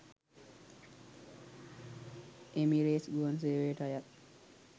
Emirates ගුවන් සේවයට අයත්